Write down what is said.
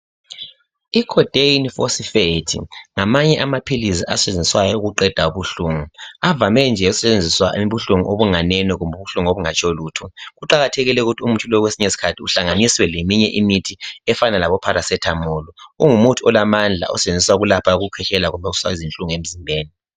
i codain phosphate ngamanye amaphilisi asetshenziswayo ukuqheda ubuhlungu avame nje ukusetshenziswa ubuhlungu obunganene kumbe obungatsho lutho kuqakathekile ukuthi umuthi lo kwesinye isikhathi uhlanganiswe leminye imithi efana labo paracetamol ungumuthi olamndla osetshenziswa ukulapha ukukwehlela kumbe ukwehlisa izinhlungu emzimbeni